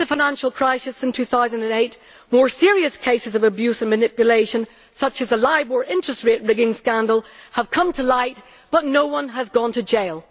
Since the financial crisis in 2008, more serious cases of abuse and manipulation, such as the Libor interest rate rigging scandal, have come to light, but no one has gone to jail.